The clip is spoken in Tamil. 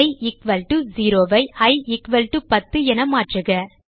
E equal to 0 I E equal to 10 என மாற்றுக